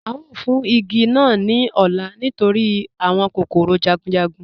A yóò fún igi naa ní ọ̀lá nítorí awọn kòkòrò jagunjagun